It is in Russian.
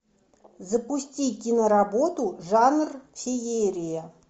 запусти киноработу жанр феерия